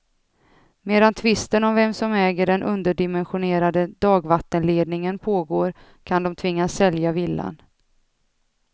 Medan tvisten om vem som äger den underdimensionerade dagvattenledningen pågår kan de tvingas sälja villan.